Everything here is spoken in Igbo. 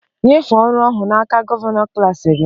Nyefee ọrụ ahụ n'aka gọvanọ klas gị!